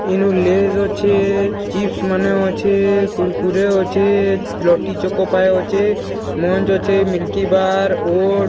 ଇନୁ ଲେଜ ଅଛେ ଚିପ୍ସ ମାନେ ଅଛେ କୁରକୁରେ ଅଛେ ଲୋଟି ଚକୋ ପାଏ ଅଛେ ମଞ୍ଚ ଅଛେ ମିଲକି ବାର ଓଟ୍ସ --